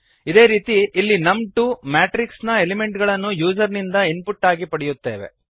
ಇದೇ ರೀತಿ ಇಲ್ಲಿ ನಮ್2 ಮ್ಯಾಟ್ರಿಕ್ಸ್ ನ ಎಲಿಮೆಂಟ್ ಗಳನ್ನು ಯೂಸರ್ ಇಂದ ಇನ್ಪುಟ್ ಆಗಿ ಪಡೆಯುತ್ತೇವೆ